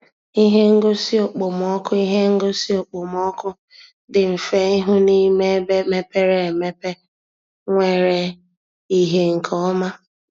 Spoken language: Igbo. Ihe ngosi okpomọkụ Ihe ngosi okpomọkụ dị mfe ịhụ n’ime ebe mepere emepe nwere ìhè nke ọma.